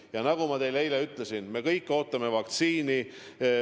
Ja nagu ma teile eile ütlesin, me kõik ootame vaktsiini.